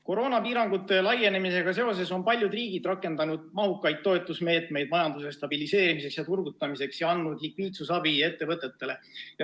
Koroonapiirangute laienemisega seoses on paljud riigid rakendanud mahukaid toetusmeetmeid majanduse stabiliseerimiseks ja turgutamiseks ning andnud ettevõtetele likviidsusabi.